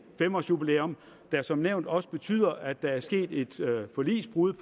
fem års jubilæum der som nævnt også betyder at der er sket et forligsbrud